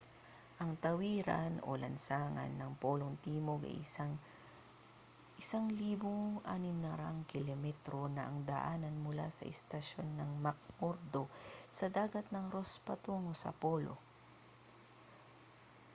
ang tawiran o lansangan ng polong timog ay isang 1600 km na daanan mula sa istasyon ng mcmurdo sa dagat ng ross patungo sa polo